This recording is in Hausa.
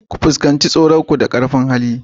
Ka fuskanci tsoronka da ƙarfin hali